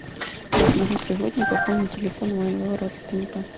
я смогу сегодня пополнить телефон моего родственника